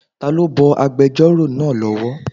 Ta ló bọ agbẹjọ́rò náà lọ́wọ́?